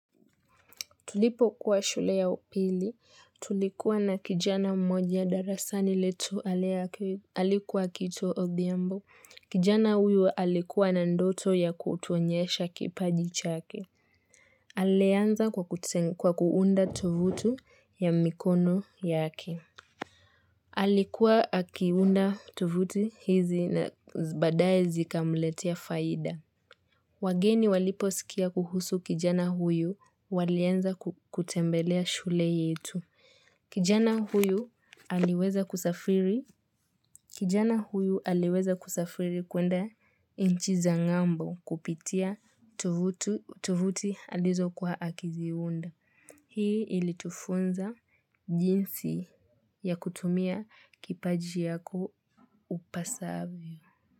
Tulipo kuwa shule ya upili, tulikuwa na kijana mmoja darasani letu alikuwa akiitwa odhiambo. Kijana huyu alikuwa na ndoto ya kutuonyesha kipaji chake. Alianza kwa kuunda tovutu ya mikono yake. Alikuwa akiunda tovuti hizi na badaye zikamletea faida. Wageni waliposikia kuhusu kijana huyu walianza kutembelea shule yetu. Kijana huyu aliweza kusafiri kuenda inchi za ngambo kupitia tovuti alizokuwa akiziunda. Hii ilitufunza jinsi ya kutumia kipaji yako upasavyo.